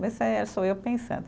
Mas isso aí é, só eu pensando.